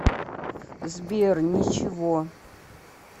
сбер ничего